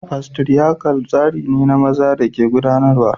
Fatriarchal tsari ne da maza ke gudanarwa